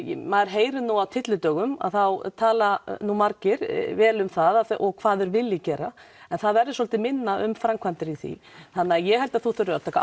maður heyrir nú á tyllidögum þá tala nú margir vel um það og hvað þeir vilji gera en það verður svolítið minna um framkævmdir í því þannig að ég held að þú þurfir að taka